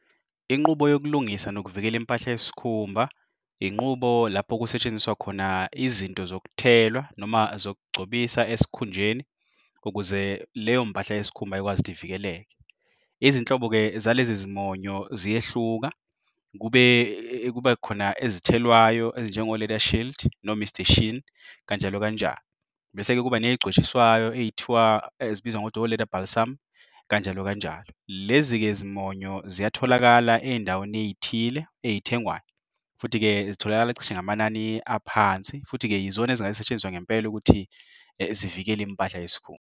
Inqubo yokulungisa nokuvikela impahla yesikhumba, inqubo lapho okusetshenziswa khona izinto zokuthelwa noma zokugcobisa esikhunjeni. Ukuze leyompahla yesikhumba ikwazi ukuthi ivikeleke. Izinhlobo-ke zalezi nezimonyo ziyehluka, kube khona ezithelwayo ezinjengo-Leather Shield no Mr Sheen kanjalo kanjalo. Bese-ke kuba ney'gcotshiswayo ethiwa elibizwa ngokuthi o-leather balsam kanjalo kanjalo. Lezi-ke zimonyo ziyatholakala eyindaweni eyithile eyithengwayo. Futhi-ke zitholakala cishe ngamanani aphansi. Futhi-ke yizona ezingasetshenziswe ngempela ukuthi zivikele impahla yesikhumba.